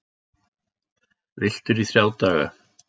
Villtur í þrjá daga